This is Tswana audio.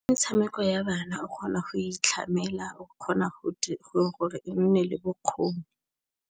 Metshameko ya bana o kgona go itlhamela, gore e nne le bokgoni.